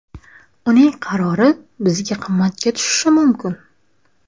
Uning qarori bizga qimmatga tushishi mumkin.